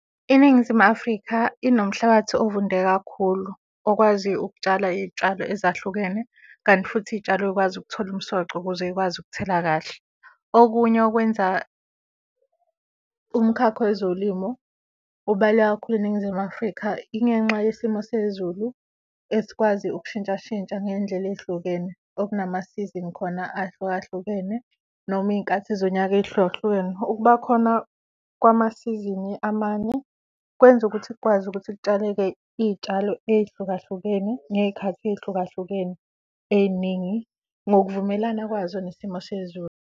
INingizimu Afrika inomhlabathi ovunde kakhulu okwazi ukutshala iy'tshalo ezahlukene kanti futhi iy'tshalo y'kwazi ukuthola umsoco ukuze y'kwazi ukuthela kahle. Okunye okwenza umkhakha wezolimo ubaluleke kakhulu eNingizimu Afrika, ingenxa yesimo sezulu esikwazi ukushintshashintsha ngendlela ey'hlukene, okunamasizini khona ahlukahlukene noma iy'nkathi zonyaka ey'hlukahlukene. Ukuba khona kwamasizini amanye kwenza ukuthi kukwazi ukuthi kutshaleke iy'tshalo ey'hlukahlukene ngey'khathi ey'hlukahlukene ey'ningi ngokuvumelana kwazo nesimo sezulu.